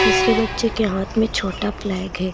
तीसरे बच्चे के हाथ में छोटा फ्लैग है।